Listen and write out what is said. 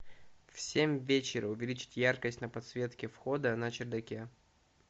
в семь вечера увеличить яркость на подсветке входа на чердаке